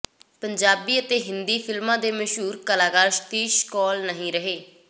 ਪੰਜਾਬੀ ਅਤੇ ਹਿੰਦੀ ਫ਼ਿਲਮਾਂ ਦੇ ਮਸ਼ਹੂਰ ਕਲਾਕਾਰ ਸ਼ਤੀਸ਼ ਕੌਲ ਨਹੀਂ ਰਹੇ